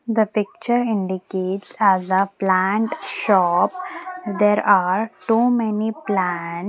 the picture indicates as a plant shop there are too many plant.